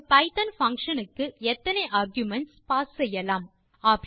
ஒரு Python function க்கு எத்தனை ஆர்குமென்ட்ஸ் பாஸ் செய்யலாம்